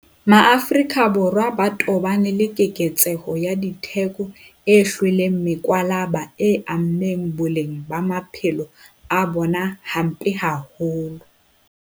Borwa ba tobane le keketseho ya ditheko e hlweleng mokwalaba e ameng boleng ba maphelo a bona hampe haholo.